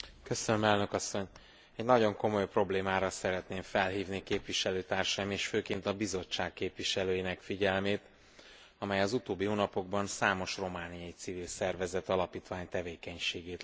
Egy nagyon komoly problémára szeretném felhívni képviselőtársaim, és főként a Bizottság képviselőinek figyelmét, amely az utóbbi hónapokban számos romániai civil szervezet, alapítvány tevékenységét lehetetlenítette el.